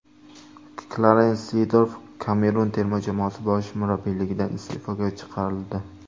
Klarens Zeedorf Kamerun terma jamoasi bosh murabbiyligidan iste’foga chiqarildi.